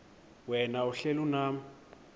wena uhlel unam